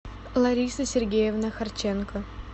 лариса сергеевна харченко